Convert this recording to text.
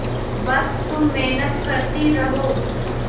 बस तुम मेहनत करती रहो